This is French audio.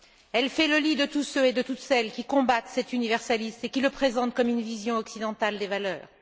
Elle fait le lit de tous ceux et de toutes celles qui combattent cet universalisme et qui le présentent comme une vision occidentale des valeurs.